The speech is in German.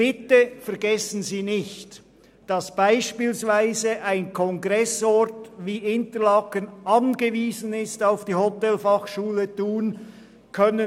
Bitte vergessen Sie nicht, dass beispielsweise ein Kongressort wie Interlaken auf die Hotelfachschule Thun angewiesen ist.